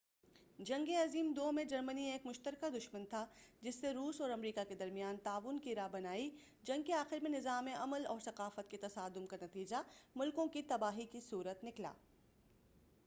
جنگِ عظیم 2 میں جرمنی ایک مُشترکہ دُشمن تھا جس سے روس اور امریکہ کے درمیان تعاون کی راہ بنائی جنگ کے آخر میں نظام عمل اور ثقافت کے تصادم کا نتیجہ مُلکوں کی تباہی کی صُورت نکلا